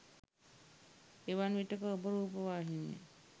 එවන් විටෙක ඔබ රූපවාහිනියෙන්